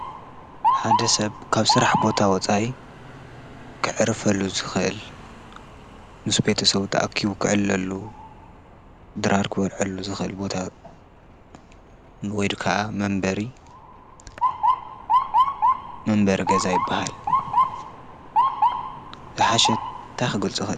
ሓደ ሰብ ካብ ስራሕ ቦታ ወፃይ ኽዕርፍሉ ዝኽል ስም ቤተ ሰው ጥኣኪቡ ኽዕለሉ ድራርክ ወልዕሉ ዝኽል ቦታ ወዱ ከዓ መንበሪ መንበሪ ገዛ ኣይበሃል ሓሽት ታኽጐልፁ እዮ።